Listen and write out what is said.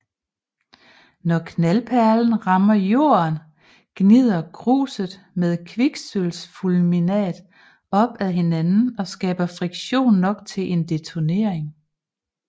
Når knaldperlen rammer jorden gnider gruset med kviksølvfulminat op ad hinanden og skaber friktion nok til en detonering